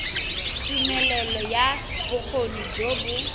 tumelelo ya bokgoni jo bo